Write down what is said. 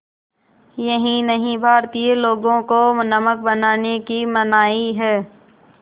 यही नहीं भारतीय लोगों को नमक बनाने की मनाही है